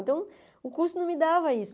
Então, o curso não me dava isso.